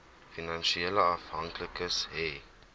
finansiële afhanklikes hê